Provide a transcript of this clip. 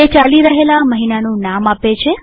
તે ચાલી રહેલા મહિનાનું નામ આપે છે